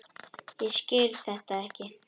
Ég skil þetta ekki!